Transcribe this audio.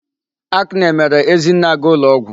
Acne mere Ezinne aga ụlọ ọgwụ.